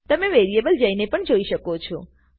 તમે વેરીએબલ જઈને પણ જોઈ શકો છો